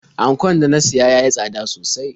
Ankon da na siya ya yi tsada sosai.